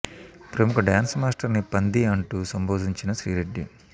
ప్రముఖ dance master ని పంది అంటూ సంబోధించిన శ్రీ రెడ్డి